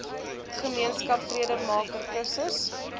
gemeenskap vredemaker kursus